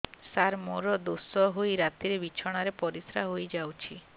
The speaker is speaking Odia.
ସାର ମୋର ଦୋଷ ହୋଇ ରାତିରେ ବିଛଣାରେ ପରିସ୍ରା ହୋଇ ଯାଉଛି